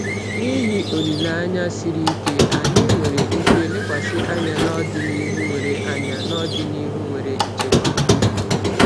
N’ihi olileanya siri ike, anyị nwere ike lekwasị anya n’ọdịnihu nwere anya n’ọdịnihu nwere nchekwa.